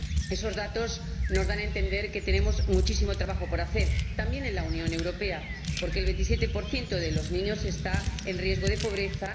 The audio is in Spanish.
Esos datos nos dan a entender que tenemos muchísimo trabajo por hacer —también en la Unión Europea— porque el 27 de los niños está en riesgo de pobreza.